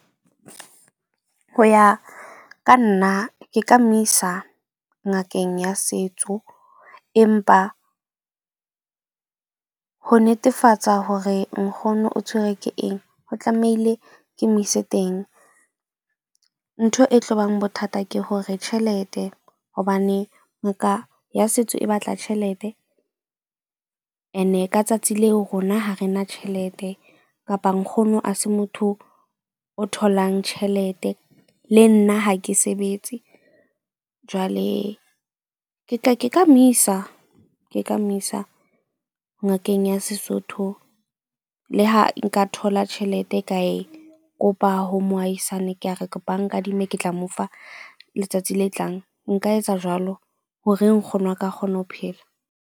Ho ya ka nna, ke ka mo isa ngakeng ya setso, empa ho netefatsa hore nkgono o tshwerwe ke eng, o tlamehile ke mo ise teng. Ntho e tlobang bothata ke hore tjhelete. Hobane ya setso e batla tjhelete. Ene ka tsatsi leo, rona ha re na tjhelete kapa nkgono ha se motho o tholang tjhelete. Le nna ha ke sebetse jwale ke ka mo isa ke ka mo isa ngakeng ya Sesotho. Le ha nka thola tjhelete ka e kopa ho moahisane ka re ke kopa o nkadime ke tla mo fa letsatsi le tlang. Nka etsa jwalo hore nkgono a ka kgone ho phela.